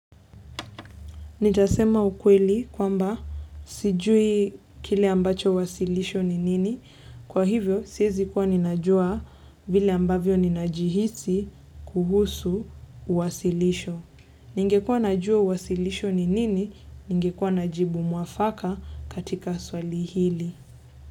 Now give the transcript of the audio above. Nitasema ukweli kwamba sijui kile ambacho wasilisho ni nini. Kwa hivyo, siezi kuwa ninajua vile ambavyo ninajihisi kuhusu wasilisho. Ningekua najua wasilisho ni nini, ningekua najibu mwafaka katika swali hili.